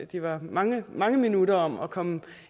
de var mange mange minutter om at komme